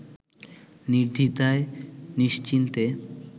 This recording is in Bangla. নির্দ্বিধায় নিশ্চিন্তে